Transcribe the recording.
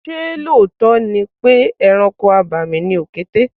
Ṣé lóòótọ́ ni pé ẹranko abàmì ni òkété?